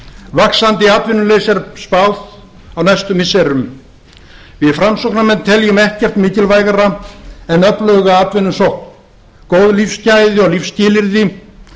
vaxandi atvinnuleysi er spáð á næstu misserum því fylgir landflótti því miður við framsóknarmenn teljum ekkert mikilvægara en öfluga atvinnusókn góð lífsgæði og lífsskilyrði